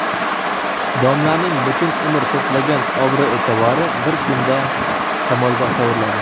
Domlaning butun umr to‘plagan obro‘-eʼtibori bir kunda shamolga sovuriladi.